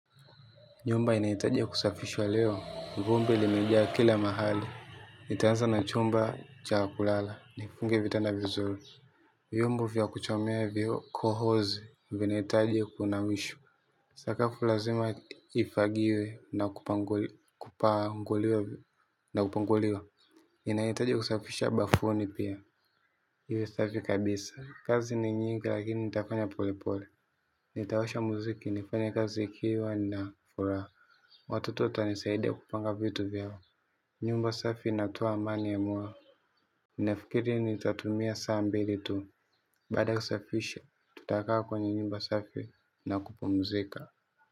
Nyumba inahitajia kusafishwa leo. Vumbi limejaa kila mahali. Nitaanza na chumba cha kulala, nifunge vitanda vizuri. Vyombo vya kuchomea vyo kohozi, vinaitaji kuinamishwa. Sakafu lazima ifagiwe na upanguliwa. Inahitaji kusafisha bafuni pia, iwe safi kabisa. Kazi ni nyingi lakini nitafanya pole pole. Nitawasha muziki nifanye kazi ikiwa na furaha. Watoto watanisaidia kupanga vitu vyangu. Nyumba safi inatoa amani ya moyo. Nafikiri nitatumia saa mbili tu. Baada ya usafishe, tutakaa kwenye nyumba safi na kupumzika.